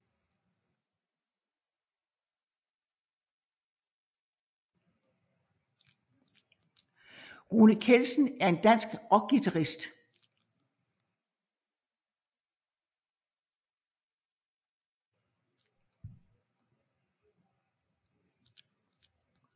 Rune Kjeldsen er en dansk rockguitarist